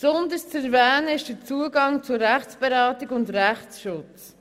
Insbesondere zu erwähnen ist der Zugang zu Rechtsberatung und Rechtsschutz.